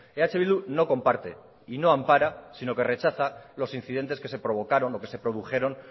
eh bildu no comparte y no ampara sino que rechaza los incidentes que se provocaron o que se produjeron